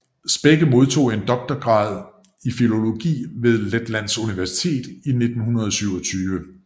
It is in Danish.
Spekke modtog en doktorgrad i filologi fra Letlands Universitet i 1927